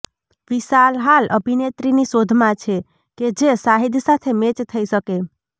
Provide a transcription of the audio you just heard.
વિશાલ હાલ અભિનેત્રીની શોધમાં છે કે જે શાહિદ સાથે મૅચ થઈ શકે